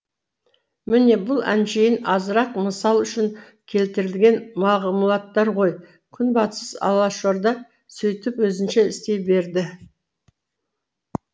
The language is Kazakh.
міне бұл әншейін азырақ мысал үшін келтірілген мағлұматтар ғой күнбатыс алашорда сөйтіп өзінше істей берді